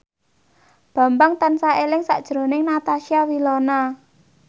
Bambang tansah eling sakjroning Natasha Wilona